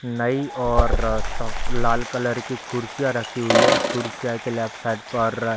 नई और सब लाल कलर की कुर्सी रखी हुई है इस कुर्सीया के लेफ्ट साइड पर --